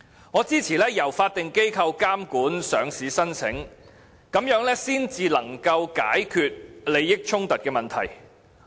我支持由法定機構監管上市申請，這才能解決利益衝突的問題。